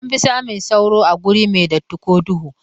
Anfi samun sauro a wuri mai datti ko duhu.